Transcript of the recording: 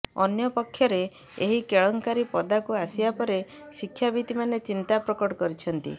ଅନ୍ୟପକ୍ଷରେ ଏହି କେଳେଙ୍କାରୀ ପଦାକୁ ଆସିବା ପରେ ଶିକ୍ଷାବିତମାନେ ଚିନ୍ତା ପ୍ରକଟ କରିଛନ୍ତି